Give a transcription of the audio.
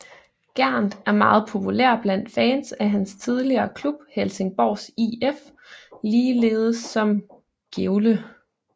Gerndt er meget populær blandt fans af hans tidligere klub Helsingborgs IF ligeledes som Gävle